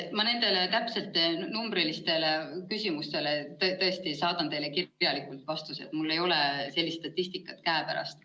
Ma nendele täpsetele numbrilistele küsimustele saadan vastuse kirjalikult, mul ei ole sellist statistikat käepärast.